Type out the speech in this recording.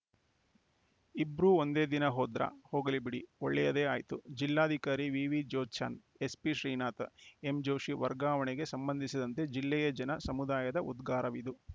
ಇಬ್ರೂ ಒಂದೇ ದಿನ ಹೋದ್ರ ಹೋಗಲಿ ಬಿಡಿ ಒಳ್ಳಯದೇ ಆಯ್ತು ಜಿಲ್ಲಾಧಿಕಾರಿ ವಿವಿಜ್ಯೋತ್ಸ್ನಾ ಎಸ್ಪಿ ಶ್ರೀನಾಥ ಎಂಜೋಷಿ ವರ್ಗಾವಣೆಗೆ ಸಂಬಂಧಿಸಿದಂತೆ ಜಿಲ್ಲೆಯ ಜನ ಸಮುದಾಯದ ಉದ್ಗಾರವಿದು